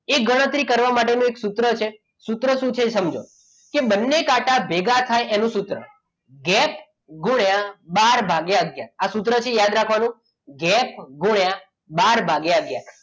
એ ગણતરી કરવા માટે હું એક સૂત્ર છે સૂત્ર શું છે સમજો કે બંને કાંટા ભેગા થાય એનું સૂત્ર ગેપ ગુણ્યા બાર ભાગ્ય આગયાર આ સૂત્રથી યાદ રાખવાનું ગેપ ગુણ્યા બાર ભાગ્ય આગયાર